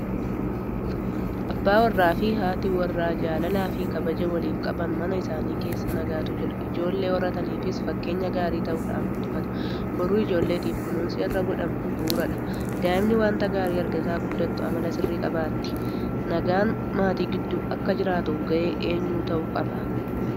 Abbaa warraafi haati warraa jaalalaafi kabaja waliif qaban mana isaanii keessa nagaatu jira. Ijoollee horataniifis fakkeenya gaarii ta'uudhaan guddifatu. Boruu ijoolleetiif kunuunsi har'a godhamu bu'uuradha. Daa'imni waanta gaarii argaa guddattu amala sirrii qabaatti. Nagaan maatii gidduu akka jiraatuuf gahee eenyuu ta'uu qaba?